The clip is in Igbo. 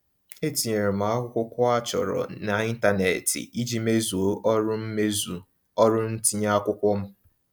E tinyere m akwụkwọ a chọrọ n'ịntaneetị iji mezuo ọrụ mezuo ọrụ ntinye akwụkwọ m.